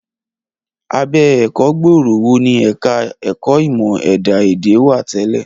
Abẹ́ ẹ̀kọ́ gbòòrò wo ni ẹ̀ka ẹ̀kọ́ ìmọ̀ ẹ̀dá èdè wà tẹ́lẹ̀?